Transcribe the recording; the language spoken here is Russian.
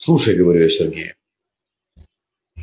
слушай говорю я сергею